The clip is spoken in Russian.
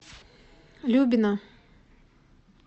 любина